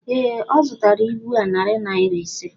Ee, ọ zụtara ibu a narị naira ise.